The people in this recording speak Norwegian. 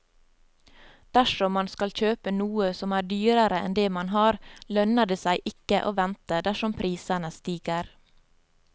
Dersom man skal kjøpe noe som er dyrere enn det man har, lønner det seg ikke å vente dersom prisene stiger.